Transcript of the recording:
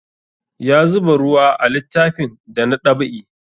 Ya zuba ruwa a littafin da na dab'i